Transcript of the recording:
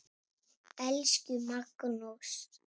Elsku Magnús.